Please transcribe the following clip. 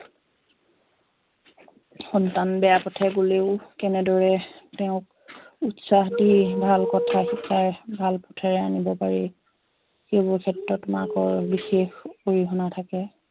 সন্তান বেয়া পথেৰে গলেও কেনেদৰে তেওঁক উতসাহ দি ভাল কথা শিকায় ভাল পথেৰে আনিব পাৰি সেইবোৰ ক্ষেত্ৰত মাকৰ বিশেষ অৰিহনা থাকে